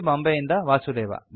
ಬಾಂಬೆಯಿಂದ ವಾಸುದೇವ